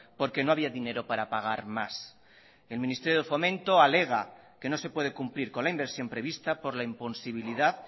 porque no había dinero para pagar más el ministerio de fomento alega que no se puede cumplir con la inversión prevista por la imposibilidad